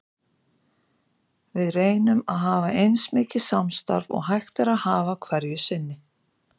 Við reynum að hafa eins mikið samstarf og hægt er að hafa hverju sinni.